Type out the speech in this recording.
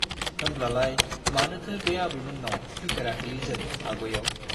होनब्लालाय मानोथो बे आबैमोन्नाव फैफेराखैलै जों आग'याव ?